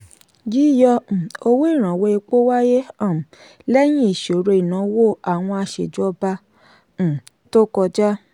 yíyọ um owó ìrànwọ́ epo wáyé um lẹ́yìn ìṣòro ìnáwó àwọn aṣèjọba um tó kọjá.